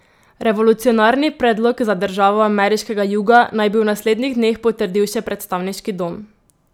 Revolucionarni predlog za državo ameriškega juga naj bi v naslednjih dneh potrdil še predstavniški dom.